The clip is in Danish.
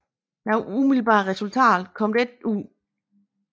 Noget umiddelbart resultat kom der ikke ud deraf